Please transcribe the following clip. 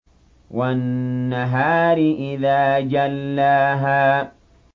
وَالنَّهَارِ إِذَا جَلَّاهَا